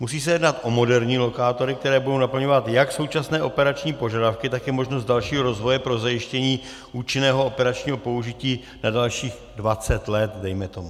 Musí se jednat o moderní lokátory, které budou naplňovat jak současné operační požadavky, tak i možnost dalšího rozvoje pro zajištění účinného operačního použití na dalších 20 let, dejme tomu.